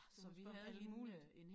Også bare det muligt